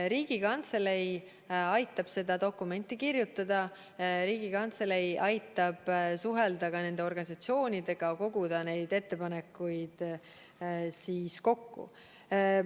Riigikantselei aitab seda dokumenti kirjutada ja suhelda ka organisatsioonidega, kogudes neid ettepanekuid kokku.